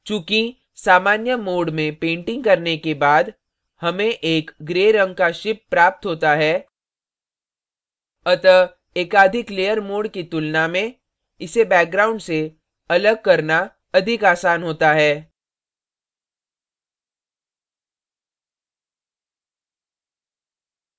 चूँकि सामान्य mode में painting करने के बाद हमें एक gray रंग का ship प्राप्त होता है अतः एकाधिक layer mode की तुलना में इसे background से अलग करना अधिक as होता है